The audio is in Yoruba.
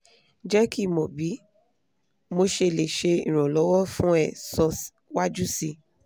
je ki mo bi mosele se iranlowo fun e so waju si